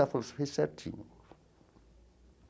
Ela falou, você fez certinho.